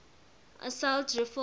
assault rifles